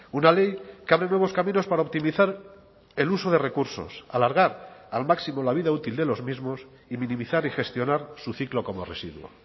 una ley que abre nuevos caminos para optimizar el uso de recursos alargar al máximo la vida útil de los mismos y minimizar y gestionar su ciclo como residuo